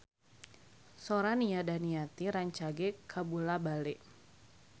Sora Nia Daniati rancage kabula-bale